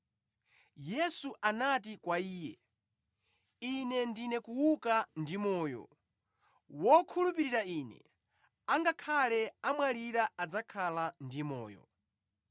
Yesu anati kwa iye, “Ine ndine kuuka ndi moyo. Wokhulupirira Ine, angakhale amwalira adzakhala ndi moyo.